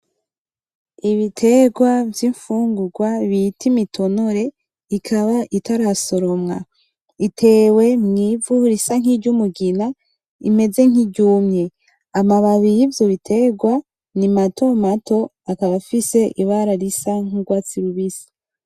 Ibiterwa vy'infungurwa bita imitonore ikaba itarasoromwa, itewe mw'ivu risa nkiryumugina imeze nkiryumye, amababi yivyo biterwa ni matomato akaba afise ibara risa nk'urwatsi rubisi.